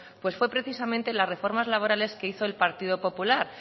pues fue precisamente las reformas laborales que hizo el partido popular